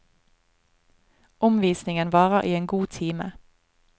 Omvisningen varer i en god time.